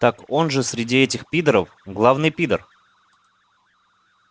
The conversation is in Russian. так он же среди этих пидоров главный пидор